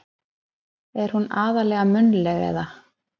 Er hún aðallega munnleg. eða.